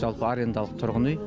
жалпы арендалық тұрғын үй